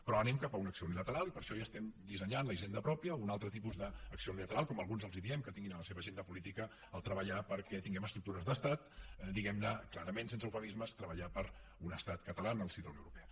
però anem cap a una acció unilateral i per això ja estem dissenyant la hisenda pròpia un altre tipus d’acció unilateral com alguns els diem que tinguin a l’agenda política treballar perquè tinguem estructures d’estat diguem ne clarament sense eufemismes treballar per un estat català en el si de la unió europea